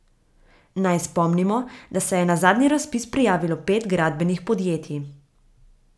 Naj spomnimo, da se je na zadnji razpis prijavilo pet gradbenih podjetij.